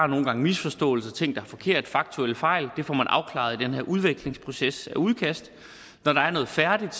nogle gange misforståelser og ting der er forkerte faktuelle fejl det får man afklaret i den her udvekslingsproces af udkast når der er noget færdigt